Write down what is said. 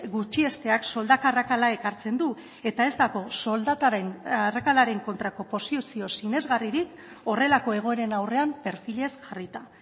gutxiesteak soldata arrakala ekartzen du eta ez dago soldataren arrakalaren kontrako posizio sinesgarririk horrelako egoeren aurrean perfilez jarrita